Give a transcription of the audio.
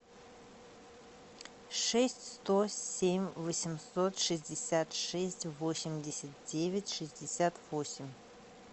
шесть сто семь восемьсот шестьдесят шесть восемьдесят девять шестьдесят восемь